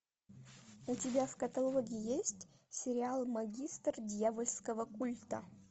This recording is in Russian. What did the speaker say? у тебя в каталоге есть сериал магистр дьявольского культа